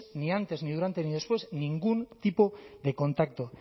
ni antes ni durante ni después ningún tipo de contacto